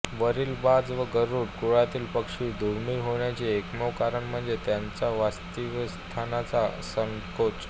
वरील बाज व गरुड कुळातील पक्षी दुर्मिळ होण्याचे एकमेव कारण म्हणजे त्यांच्या वस्तीस्थानांचा संकोच